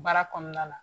Baara kɔnɔna na